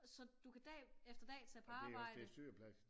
Så du kan dag efter dag tage på arbejde